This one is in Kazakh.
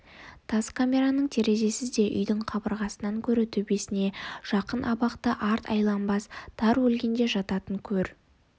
тас камераның терезесі де үйдің қабырғасынан гөрі төбесіне жақын абақты арт айланбас тар өлгенде жататын көр